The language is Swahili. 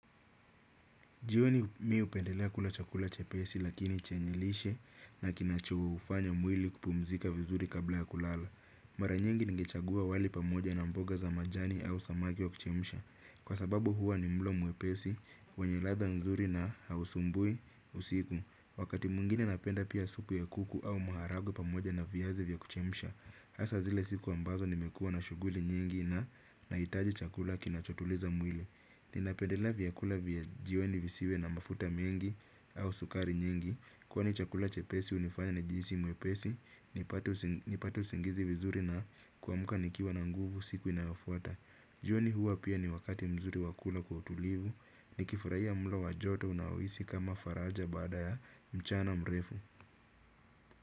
Jioni mimi hupendelea kula chakula chepesi lakini chenye lishe na kinachoufanya mwili kupumzika vizuri kabla ya kulala. Mara nyingi ningechagua wali pamoja na mboga za majani au samaki wa kuchemsha. Kwa sababu huwa ni mlo mwepesi, wenye ladha nzuri na hausumbui usiku. Wakati mwingine napenda pia supu ya kuku au maharagwe pamoja na viazi vya kuchemsha. Hasa zile siku ambazo nimekuwa na shughuli nyingi na nahitaji chakula kinachotuliza mwili. Ninapedela vyakula vya jioni visiwe na mafuta mengi au sukari nyingi kwani chakula chepesi hunifanya nijisi mwepesi nipate usingizi vizuri na kuamka nikiwa na nguvu siku inayofuata jioni hua pia ni wakati mzuri wa kula kwa utulivu nikifurahia mlo wa joto unahisi kama faraja baada ya mchana mrefu.